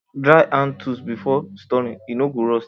dry hand tools before storing e no go rust